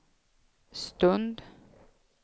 stund